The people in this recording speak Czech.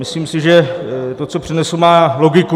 Myslím si, že to, co přednesu, má logiku.